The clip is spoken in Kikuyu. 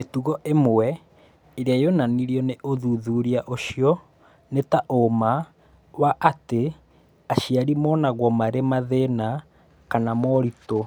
Mĩtugo ĩmwe ĩrĩa yonanirio nĩ ũthuthuria ũcio nĩ ta ũũma wa atĩ aciari monagwo marĩ mathĩna kana moritũ